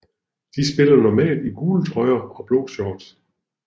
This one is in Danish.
De spiller normalt i gule trøjer og blå short